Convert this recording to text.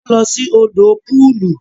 Wọn lọ sí òdò pọọlù